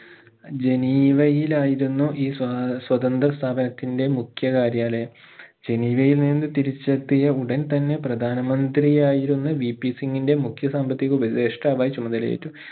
ജനീവയിലായിരുന്നു ഈ സ്വാ സ്വതന്ത്ര സ്ഥാപനത്തിന്റെ മുഖ്യ കാര്യാലയം ജനീവയിൽ നിന്ന് തിരിച്ചെത്തിയ ഉടൻ തന്നെ പ്രധാന മന്ത്രിയായിരുന്ന VP സിംഗിന്റെ മുഖ്യ സാമ്പത്തിക ഉപദേഷ്ട്ടാവായി ചുമതലയേറ്റു